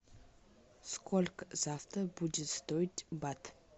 сколько завтра будет стоить бат